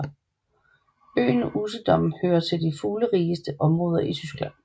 Øen Usedom hører til de fuglerigeste områder i Tyskland